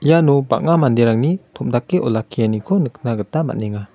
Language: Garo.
iano bang·a manderangni tom·dake olakkianiko nikna gita man·enga.